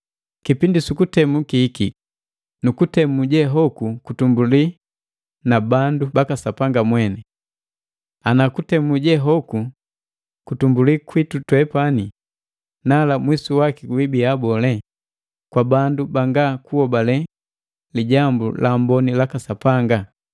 Kipindi sukutemu kihikiki, nu kutemu je hoku kutumbuli na bandu baka Sapanga mweni. Ana kutemu jehoku kutumbulii kwitu twepani, nala mwisu waki wiibia boo kwa bandu banga kuhobale lijambu laamboni laka Sapanga?